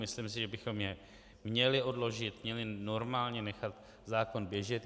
Myslím si, že bychom jej měli odložit, měli normálně nechat zákon běžet.